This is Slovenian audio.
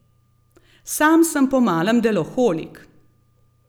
Sam sem po malem deloholik.